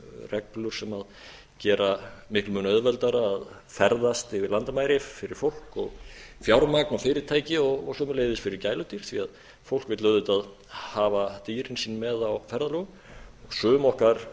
reglur sem gera miklum mun auðveldara að ferðast yfir landamæri fyrir fólk og fjármagn og fyrirtæki og sömuleiðis fyrir gæludýr því fólk vill auðvitað hafa dýrin sín með á ferðalögum sum okkar